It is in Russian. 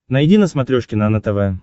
найди на смотрешке нано тв